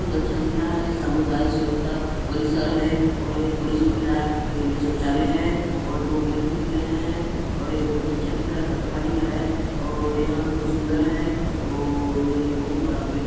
बहुत अच्छा दिख रहा है सामुदायिक स्वच्छता परिसर है और ये पुरुष महिला के लिए शौचालय है और दो गेट भी दिख रहे है और ये बहुत अच्छा दिख रहा है ताता पानी का है और यह बहुत सुंदर है और यह बहुत बड़ा गेट --